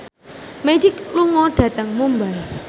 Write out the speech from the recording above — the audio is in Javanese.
Magic lunga dhateng Mumbai